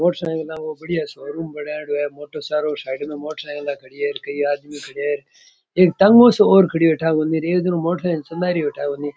motor cycle की बढ़िया showroom बनायेड़ो है चारो साइड में मोटर साइकिल खड़ी है कई आदमी खड़े है एक टैंगो सो और खड़ा है --